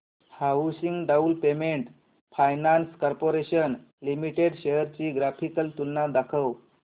housing Development Finance Corporation Limited shares ची graphical तुलना दाखव